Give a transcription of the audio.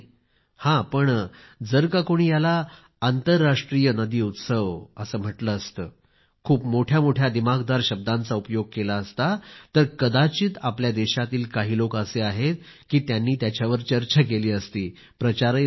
हं पण जर का कोणी याला आंतरराष्ट्रीय नदी उत्सव असं म्हटलं असतं खूप मोठ्या मोठ्या दिमाखदार शब्दांचा उपयोग केला असता तर कदाचित आपल्या देशातील काही लोक असे आहेत कि त्यांनी त्याच्यावर चर्चा केली असती प्रचार झाला असता